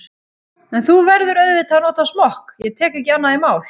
En þú verður auðvitað að nota smokk, ég tek ekki annað í mál.